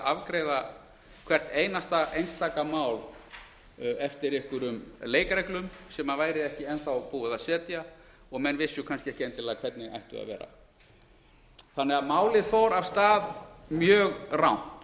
afgreiða hvert einasta einstaka mál eftir einhverjum leikreglum sem væri ekki enn þá búið að setja og menn vissu kannski ekki endilega hvernig ættu að vera málið fór því af stað mjög rangt